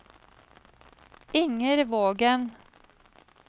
Inger Vågen